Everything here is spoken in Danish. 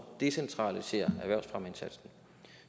decentralisere erhvervsfremmeindsatsen